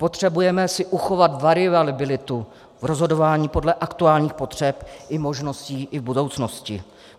Potřebujeme si uchovat variabilitu v rozhodování podle aktuálních potřeb i možností i v budoucnosti.